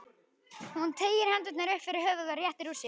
Hún teygir hendurnar upp fyrir höfuðið og réttir úr sér.